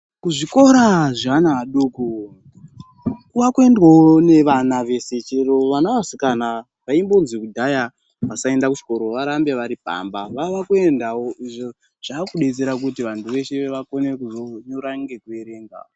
Kuzvikora zveana adoko, kwavakuendwawo nevana veshe, chero vana vevasikana vaimbozwi kudhaya vasainda kuchikora varambe vari pamba vava kuendawo izvo zvavakudetsera kuti vantu veshe vakone kuzonyora nekuerenga.